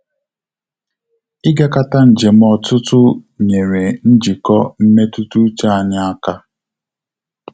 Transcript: Igakata njem ọtụtụ nyere njikọ mmetụta uche anyị aka